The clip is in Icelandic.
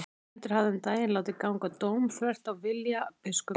Erlendur hafði um daginn látið ganga dóm þvert á vilja biskups.